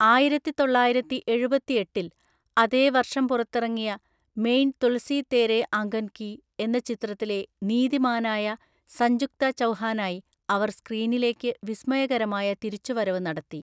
ആയിരത്തിതൊള്ളായിരത്തി എഴുപത്തിഎട്ടില്‍, അതേ വർഷം പുറത്തിറങ്ങിയ മെയിൻ തുളസി തേരെ അംഗൻ കി എന്ന ചിത്രത്തിലെ നീതിമാനായ സഞ്ജുക്ത ചൗഹാനായി അവർ സ്‌ക്രീനിലേക്ക് വിസ്മയകരമായ തിരിച്ചുവരവ് നടത്തി.